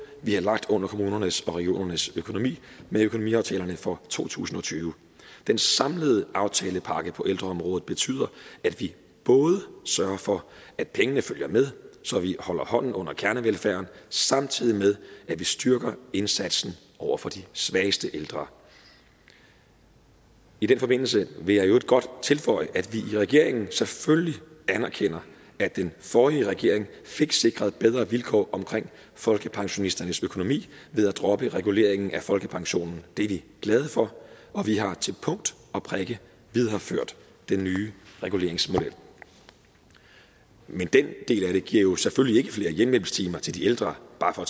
vi har lagt under kommunernes og regionernes økonomi med økonomiaftalerne for to tusind og tyve den samlede aftalepakke på ældreområdet betyder at vi både sørger for at pengene følger med så vi holder hånden under kernevelfærden samtidig med at vi styrker indsatsen over for de svageste ældre i den forbindelse vil jeg i øvrigt godt tilføje at vi i regeringen selvfølgelig anerkender at den forrige regering fik sikret bedre vilkår omkring folkepensionisternes økonomi ved at droppe reguleringen af folkepensionen det er vi glade for og vi har til punkt og prikke videreført den nye reguleringsmodel men den del af det giver jo selvfølgelig hjemmehjælpstimer til de ældre bare for